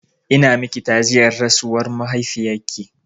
Ina miki ta'aziyyar rasuwar mahaifiyarki.